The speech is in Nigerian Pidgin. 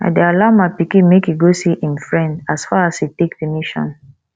i dey allow my pikin make e go see im friend as far as e take permission